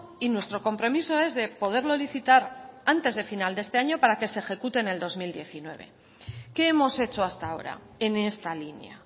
y nuestro compromiso es de poderlo licitar antes de final de este año para que se ejecute en el dos mil diecinueve qué hemos hecho hasta ahora en esta línea